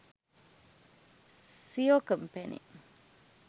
seo company